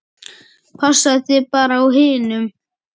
Passaðu þig bara á hinum.